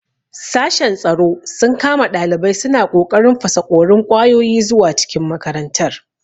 Sashen tsaro sun kama ɗalibai suna ƙoƙarin fasaƙorin ƙwayoyi zuwa cikin makarantar.